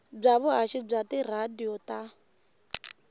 bya vuhaxi bya tiradiyo ta